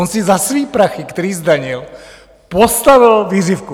On si za své prachy, které zdanil, postavil vířivku.